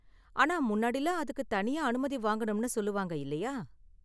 ஆனா முன்னாடிலாம் அதுக்கு தனியா அனுமதி வாங்கணும்னு சொல்லுவாங்க, இல்லையா?